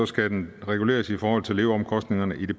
skal den reguleres i forhold til leveomkostningerne i det